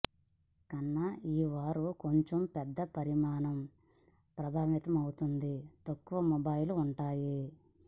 కన్నా ఈ వారి కొంచెం పెద్ద పరిమాణం ప్రభావితమవుతుంది తక్కువ మొబైల్ ఉంటాయి